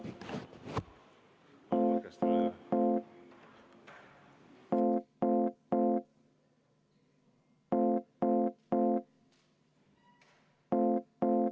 V a h e a e g